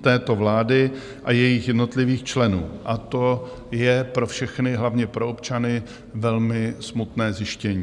této vlády a jejích jednotlivých členů, a to je pro všechny, hlavně pro občany, velmi smutné zjištění.